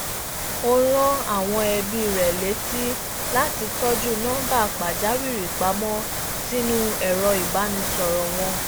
ó rán awọn ẹbi rẹ létí lati tọju nọńbà pàjáwìrì pamọ sínú ẹrọ ibanisọrọ wọn